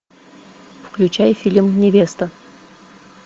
включай фильм невеста